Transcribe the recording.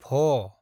भ